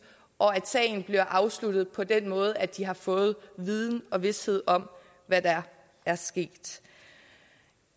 og at sagen bliver afsluttet på den måde at de har fået viden og vished om hvad der er sket